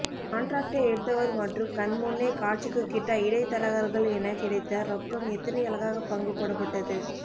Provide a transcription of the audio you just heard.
காண்ட்ராக்ட்டை எடுத்தவர் மற்றும் கண்முன்னே காட்சிக்குக்கிட்டா இடைத்தரகர்கள் என கிடைத்த ரொக்கம் எத்தனை அழகாகப்பங்கு போடப்பட்டது